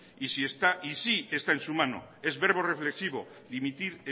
y sí está en su mano es verbo reflexivo dimitir